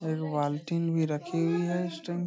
एगो बालटीन भी रखी हुई है इस्टम --